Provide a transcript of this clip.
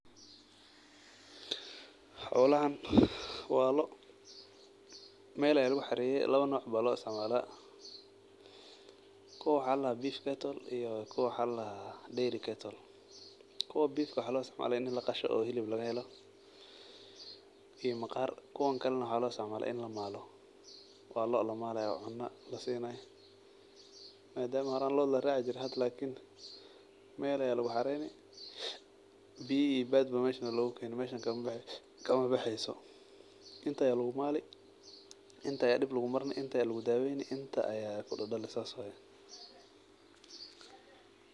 Howlahan waa loo, Mel aya lugu xareeye, laba noc ba waa loo isticmaala, kuwo waxa ladhaha beef cattle kuwo waxa ladhaha dairy cattle, kuwo beef waxa loo isticmaala ini laqasho oo hilib laga helo iyo maqaar kuwan kale na waxaa loo isticmaala ini la maalo, waa loo lamaalay oo cuna lasiinay ,maadaama oo horan loo laraaci jire had lakin Mel aya lugu xareyni, biya iyo badba meshan aya logu keeni, meshan kama baxeyso, inta aya lugu maali, inta aya lugu daaweyni, inta aya dhibka lugu marini inta ay kudhsadhaii sas waye